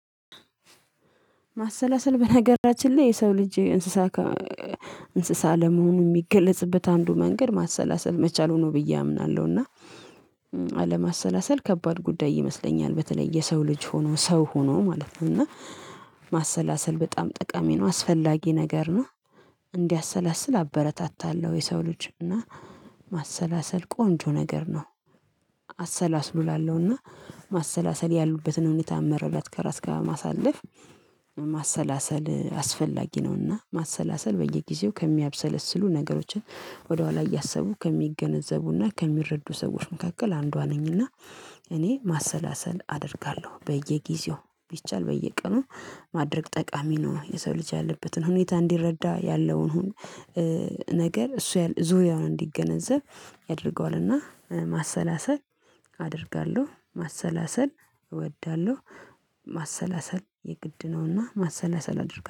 ማሰላሰል በነገራችን ላይ የሰው ልጅ እንስሳ እንስሳ ለመሆኑ የሚገለጽበት አንዱ መንገድ ማሰላሰል መቻሉ ብዬ አምናለሁ። እና አለማሰላሰል ከባድ ጉዳይ ይመስለኛል። በተለይ የሰው ልጅ ሆኖ ሰው ሆኖ ማለት ነው እና ማሰላሰል በጣም ጠቃሚ ነው አስፈላጊ ነገር ነው። እንዲያሰላስል አበረታታለሁ የሰው ልጅ እና ማሰላሰል ቆንጆ ነገር ነው። አሰላስሉ እላለሁና ማሰላሰል ያሉበትን ሁኔታ መረዳት ከራስ ጋር ማሳለፍ ማሰላሰል አስፈላጊ ነውና። ማሰላሰል በየጊዜው ከሚያብሰለስሉ ነገሮችን ወደኋላ እያሰቡ ከሚገነዘቡና ከሚረዱ ሰዎች መካከል አንዷ ነኝና። እኔ ማሰላሰል አደርጋለሁ በየጊዜው ቢቻል በየቀኑ ማድረግ ጠቃሚ ነው። የሰው ልጅ ያለበትን ሁኔታ እንዲረዳ ያለውን ነገር እሱ ዙሪያውን እንዲገነዘብ ያደርገዋልና። ማሰላሰል አደርጋለሁ ማሰላሰል እወዳለሁ። ማሰላሰል የግድ ነውና ማሰላሰል አደርጋ